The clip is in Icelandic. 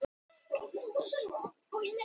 Bara margfalt öflugra.